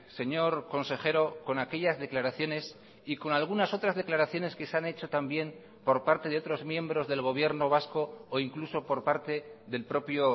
señor consejero con aquellas declaraciones y con algunas otras declaraciones que se han hecho también por parte de otros miembros del gobierno vasco o incluso por parte del propio